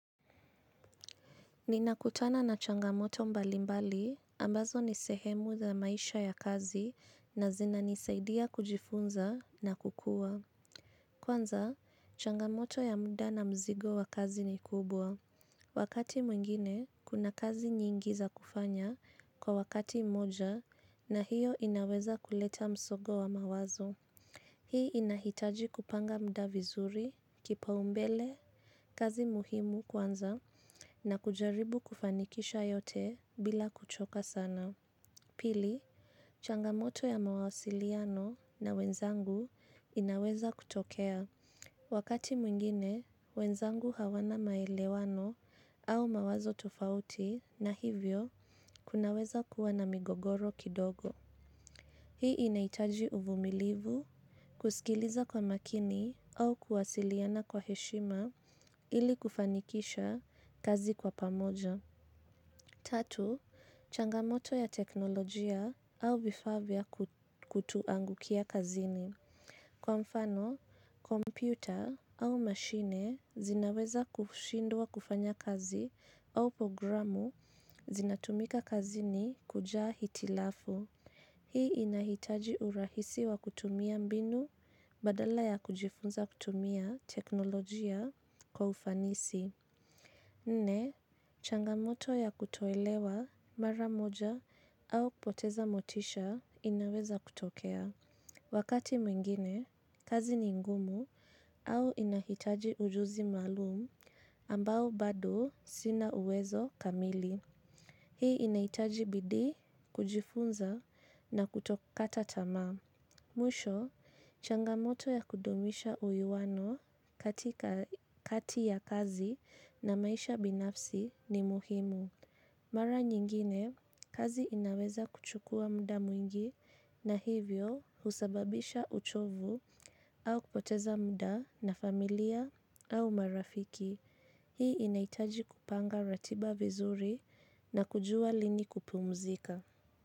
Ninakutana na changamoto mbalimbali ambazo nisehemu za maisha ya kazi na zina nisaidia kujifunza na kukua. Kwanza, changamoto ya muda na mzigo wa kazi ni kubwa. Wakati mwingine, kuna kazi nyingi za kufanya kwa wakati mmoja na hiyo inaweza kuleta msongo wa mawazo. Hii inahitaji kupanga muda vizuri, kipa umbele, kazi muhimu kwanza na kujaribu kufanikisha yote bila kuchoka sana. Pili, changamoto ya mawasiliano na wenzangu inaweza kutokea. Wakati mwengine, wenzangu hawana maelewano, au mawazo tofauti, na hivyo kunaweza kuwa na migogoro kidogo. Hii inahitaji uvumilivu, kusikiliza kwa makini au kuwasiliana kwa heshima ili kufanikisha kazi kwa pamoja. Tatu, changamoto ya teknolojia au vifaa vya kutuangukia kazini. Kwa mfano, kompyuta au mashine zinaweza kushindwa kufanya kazi au programu zinatumika kazini kujaa hitilafu. Hii inahitaji urahisi wa kutumia mbinu badala ya kujifunza kutumia teknolojia kwa ufanisi. Nne, changamoto ya kutoelewa mara moja au kupoteza motisha inaweza kutokea. Wakati mwingine, kazi ni ngumu au inahitaji ujuzi maalum ambao bado sina uwezo kamili. Hii inaitaji bidii, kujifunza na kutokata tamaa. Mwisho, changamoto ya kudumisha uwiano katika kati ya kazi na maisha binafsi ni muhimu. Mara nyingine, kazi inaweza kuchukua muda mwingi na hivyo husababisha uchovu au kupoteza muda na familia au marafiki. Hii inahitaji kupanga ratiba vizuri na kujua lini kupumuzika.